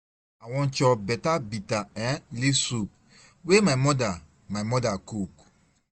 I wan chop better bitter um leaf soup wey my mother, my mother cook.